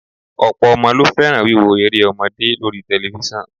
Ọ̀pọ̀ ọmọ ló fẹ́ràn wíwo eré ọmọdé lóri tẹlifíṣàn